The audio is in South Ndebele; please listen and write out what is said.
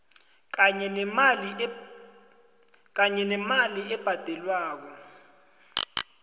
kanye nemali ebhadelwako